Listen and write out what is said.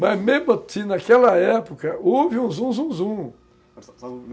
Mas mesmo assim, naquela época, houve um zum zum zum.